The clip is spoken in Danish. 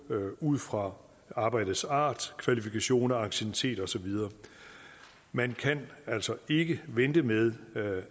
ud fra arbejdets art kvalifikationer anciennitet og så videre man kan altså ikke vente med